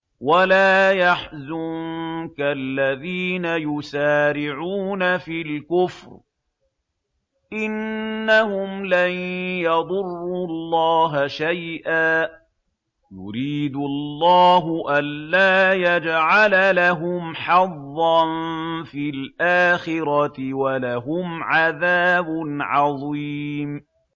وَلَا يَحْزُنكَ الَّذِينَ يُسَارِعُونَ فِي الْكُفْرِ ۚ إِنَّهُمْ لَن يَضُرُّوا اللَّهَ شَيْئًا ۗ يُرِيدُ اللَّهُ أَلَّا يَجْعَلَ لَهُمْ حَظًّا فِي الْآخِرَةِ ۖ وَلَهُمْ عَذَابٌ عَظِيمٌ